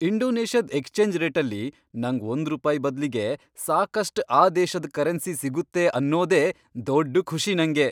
ಇಂಡೋನೇಷ್ಯಾದ್ exchange ರೇಟಲ್ಲಿ ನಂಗ್ ಒಂದ್ರೂಪಾಯ್ ಬದ್ಲಿಗೆ ಸಾಕಷ್ಟ್ ಆ ದೇಶದ್ ಕರೆನ್ಸಿ ಸಿಗುತ್ತೆ ಅನ್ನೋದೇ ದೊಡ್ಡ್ ಖುಷಿ ನಂಗೆ.